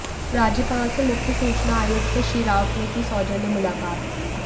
राज्यपाल से मुख्य सूचना आयुक्त श्री राउत ने की सौजन्य मुलाकात